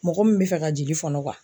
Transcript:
Mɔgɔ min bɛ fɛ ka jigin fɔnɔ